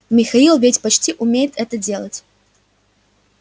михаил ведь почти умеет это делать